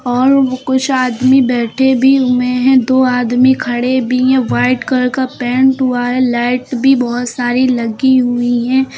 और कुछ आदमी बैठे भी हुए हैं दो आदमी खड़े भी हैं वाइट कलर का पेंट हुआ है लाइट भी बहोत सारी लगी हुई हैं।